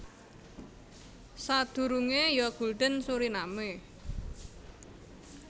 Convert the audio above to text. Sadurungé ya Gulden Suriname